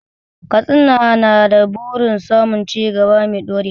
Katsina na da burin samun cigaba mai ɗorewa.